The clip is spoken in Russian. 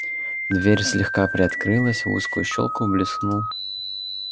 дверь слегка приоткрылась в узкую щёлку блеснул